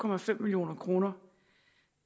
million kroner